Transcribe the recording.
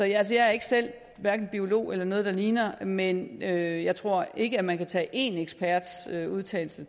jeg er ikke selv hverken biolog eller noget der ligner men jeg jeg tror ikke at man kan tage én eksperts udtalelse